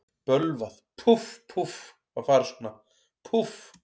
Bölvað, púff, púff, að fara svona, púff.